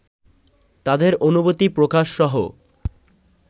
তাদের অনুভূতি প্রকাশসহ